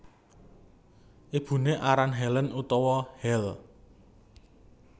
Ibuné aran Helen utawa Hel